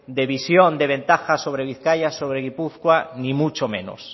de visión de ventaja sobre bizkaia sobre gipuzkoa ni mucho menos